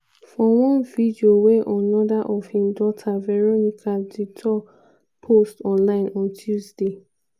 for one video wey anoda of im daughter veronica duterte post online on tuesday.